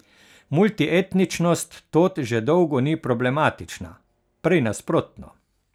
Multietničnost tod že dolgo ni problematična, prej nasprotno.